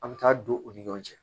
An bɛ taa don u ni ɲɔgɔn cɛ